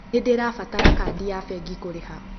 Nĩndĩrabatara kadi ya bengĩ kũrĩha